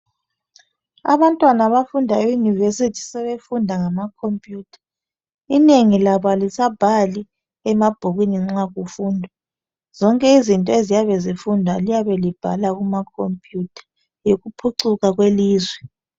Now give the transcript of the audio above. Abantwana abafunda e University sebefunda ngama computers. Inenginlabo alisabhali emabhukwini nxa kufundwa. Zonke izinto nxa kufundwa liyabe libhala kuma computer. Yikuphucuka kwelizwe.